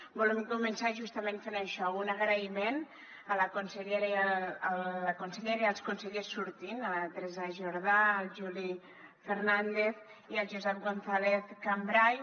volem començar justament fent això un agraïment a la consellera i els consellers sortints a la teresa jordà al juli fernàndez i al josep gonzàlez cambray